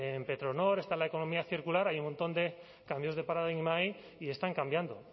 en petronor está la economía circular hay un montón de cambios de paradigmas ahí y están cambiando